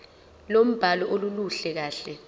lombhalo aluluhle kahle